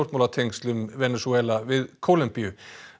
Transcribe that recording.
stjórnmálatengslum Venesúela við Kólumbíu